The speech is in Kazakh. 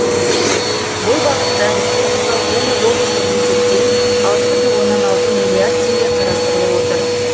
бұл бағытта республикалық және облыстық бюджеттен алты бүтін оннан алты миллиард тенге қарастырылып отыр